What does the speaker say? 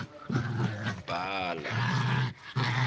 bhala